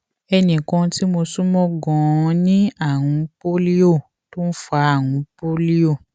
ẹnì kan tí mo sún mọ ganan ní àrùn pólíò tó ń fa àrùn pólíò